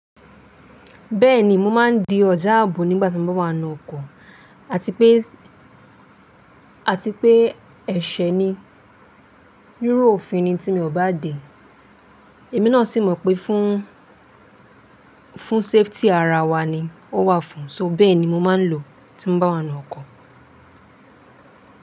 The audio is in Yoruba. Bẹ́ẹ̀ni, mo máa ń di ọjà ààbò nígbà tí mo bá wá ninu ọkọ̀ àti pé, àti pé ẹ̀ṣẹ̀ ni, riru òfin ni tí mi ò bá de ẹ̀mí náà sì mọ̀ pé fún, fún safety ara wa ni ó wà fún, so bẹ́ẹ̀ ni mo máa ń lò tí mo bá wá ninu ọkọ̀.